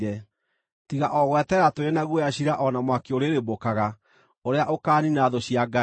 tiga o gweterera tũrĩ na guoya ciira o na mwaki ũrĩrĩmbũkaga ũrĩa ũkaaniina thũ cia Ngai.